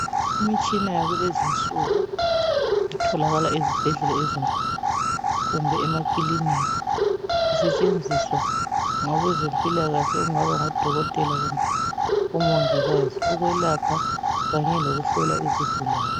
imitshina yakulezinsuku itholakala ezibhedlela ezinkulu kumbe emakilinika isetshenziswa ngabezempilakahle okungaba ngo dokotela kumbe omongikazi ukwelapha kanye lokuhlola izigulane